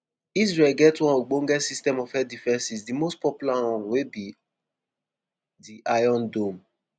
israel get one ogbonge system of air defences di most popular one wey be di iron dome.